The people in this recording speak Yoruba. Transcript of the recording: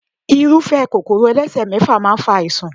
Irúfé Kòkòrò elesemefa máa ń fa àìsàn.